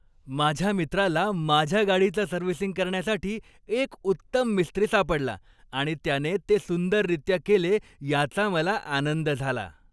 माझ्या मित्राला माझ्या गाडीचं सर्व्हिसिंग करण्यासाठी एक उत्तम मिस्त्री सापडला आणि त्याने ते सुंदररीत्या केले याचा मला आनंद झाला.